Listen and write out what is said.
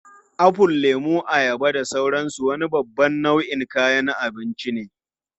Ya'yan itãcen irin su apple, lemu, ayaba, da sauransu wani babban nau'in kayan abinci ne.